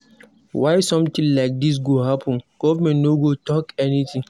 Why something like dis go happen, government no go talk anything.